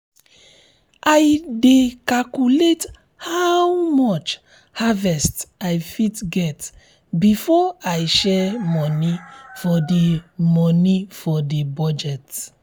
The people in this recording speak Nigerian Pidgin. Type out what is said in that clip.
i dey calculate how much harvest i fit get before i share money for the money for the budget.